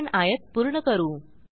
आपण आयत पूर्ण करू